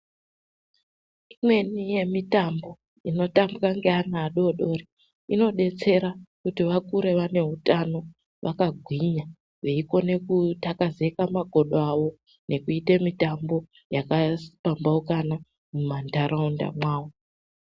Imweni yemitambo inotambwa ngeana adodori inobetsera kuti vakure vane hutano vakagwinya veikone kutakazeke makodo avo. Nekute mitambo yakapambaukana mumantaraunda mwavo.